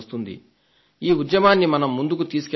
ఈ ఉద్యమాన్ని మనం ముందుకు తీసుకువెళ్లాలి